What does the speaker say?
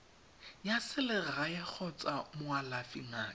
ya selegae kgotsa moalafi ngaka